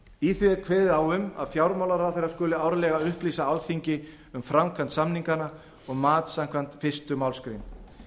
því er kveðið á um að fjármálaráðherra skuli árlega upplýsa alþingi um framkvæmd samninganna og mat samkvæmt fyrstu málsgrein